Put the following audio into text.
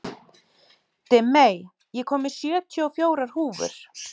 Dimmey, ég kom með sjötíu og fjórar húfur!